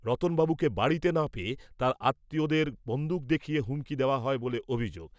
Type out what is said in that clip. রতন বাবুকে বাড়িতে না পেয়ে তাঁর আত্মীয়দের বন্দুক দেখিয়ে হুমকি দেওয়া হয় বলে অভিযোগ।